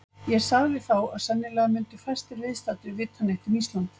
Ég sagði þá, að sennilega myndu fæstir viðstaddir vita neitt um Ísland.